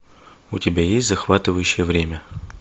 у тебя есть захватывающее время